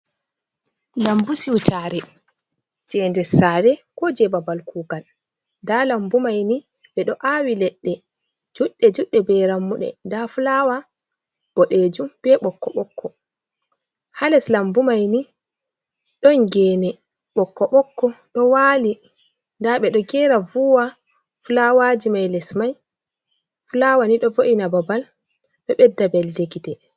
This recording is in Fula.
Lambu siutare jei nder sare ko jei babal kugal, nda lambu mai ni ɓeɗo awi ledde juɗɗe juɗɗe be rammuɗe, nda fulawa boɗejum be bokko bokko, ha les lambu mai ni ɗon gene bokko bokko ɗo wal, nda beɗo gera vuwa fulawaji mai les mai. Fulawa ni ɗo vo’ina babal be ɓedda belnde gite.